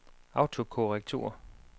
autokorrektur